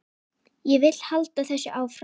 Ég vil halda þessu áfram.